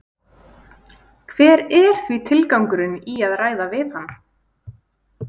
Hver er því tilgangurinn í að ræða við hann?